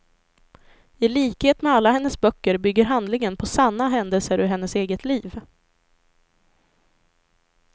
I likhet med alla hennes böcker bygger handlingen på sanna händelser ur hennes eget liv.